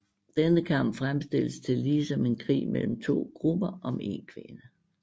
Denne kamp fremstilles tillige som en krig mellem to grupper om en kvinde